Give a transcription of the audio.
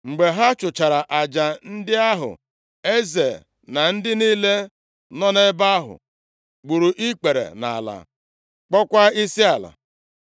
Mgbe ha chụchara aja ndị ahụ, eze na ndị niile nọ nʼebe ahụ gburu ikpere nʼala, kpọkwaa isiala.